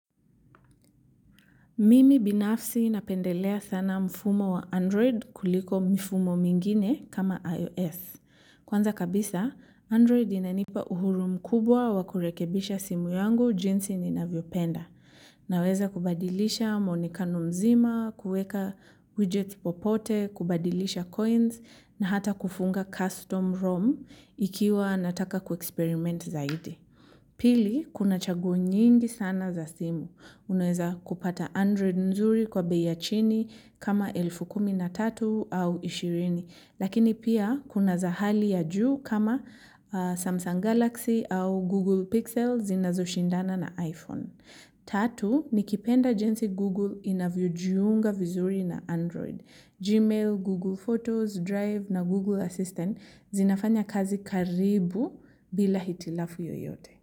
Mimi binafsi napendelea sana mfumo wa Android kuliko mfumo mwingine kama iOS. Kwanza kabisa, Android inanipa uhuru mkubwa wa kurekebisha simu yangu jinsi ninavyopenda. Naweza kubadilisha muonekano mzima, kueka widget popote, kubadilisha coins na hata kufunga custom ROM ikiwa nataka ku eksperiment zaidi. Pili, kuna chaguo nyingi sana za simu. Unaweza kupata Android nzuri kwa bei chini kama elfu kumi na tatu au ishirini. Lakini pia, kuna za hali ya juu kama Samsung Galaxy au Google Pixel zinazoshindana na iPhone. Tatu nikipenda jinsi Google inavyojiunga vizuri na Android. Gmail, Google Photos, Drive na Google Assistant zinafanya kazi karibu bila hitilafu yoyote.